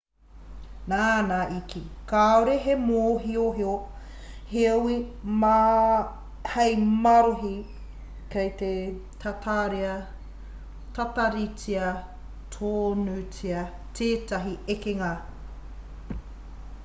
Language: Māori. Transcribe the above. nāna i kī kāore he mōhiohio hei marohi kei te tataritia tonutia tētahi ekenga